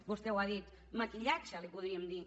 vostè ho ha dit maquillatge en podríem dir